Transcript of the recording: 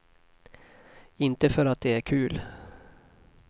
Inte för att det är kul.